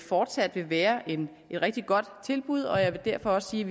fortsat vil være et rigtig godt tilbud og jeg vil derfor også sige